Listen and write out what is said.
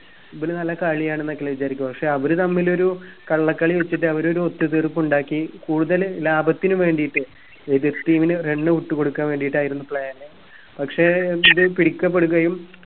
ഇവര് നല്ല കളിയാണെന്നൊക്കെല്ലേ വിചാരിക്കുവാ അവര് തമ്മിലൊരു കള്ളകളി കളിച്ചിട്ട് അവരൊരു ഒത്തുതീർപ്പ് ഉണ്ടാക്കി കൂടുതൽ ലാപത്തിന് വേണ്ടീട്ട് എതിർ team ന് run out കൊടുക്കാൻ വേണ്ടീട്ടായിരുന്നു plan പക്ഷെ ഇത് പിടിക്കപ്പെടുകയും